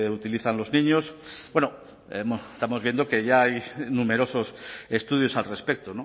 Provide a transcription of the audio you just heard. utilizan los niños estamos viendo que ya hay numerosos estudios al respecto